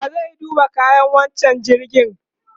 wa zai duba kayan wancan jirgin?